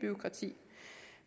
bureaukrati